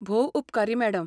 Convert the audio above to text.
भोव उपकारी मॅडम.